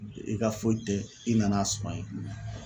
I ka foyi tɛ i nan'a sɔrɔ ye